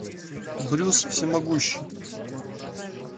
брюс всемогущий